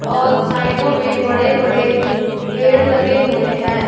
और साइडो में बड़े बड़े पेड़ लगे हुए हैं।